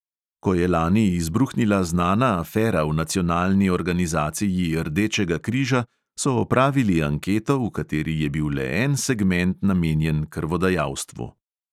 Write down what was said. Ko je lani izbruhnila znana afera v nacionalni organizaciji rdečega križa, so opravili anketo, v kateri je bil le en segment namenjen krvodajalstvu.